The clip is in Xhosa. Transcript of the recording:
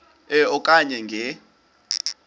e okanye nge